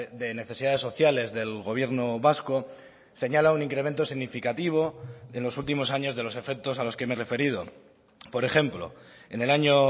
de necesidades sociales del gobierno vasco señala un incremento significativo en los últimos años de los efectos a los que me he referido por ejemplo en el año